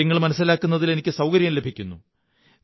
കാര്യങ്ങൾ മനസ്സിലാക്കുന്നതിൽ എനിക്ക് സൌകര്യം ലഭിക്കുന്നു